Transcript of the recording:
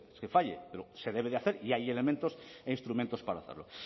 que falle pero se debe de hacer y hay elementos e instrumentos para hacerlo